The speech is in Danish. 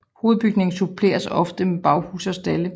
Hovedbygningen suppleres ofte med baghuse og stalde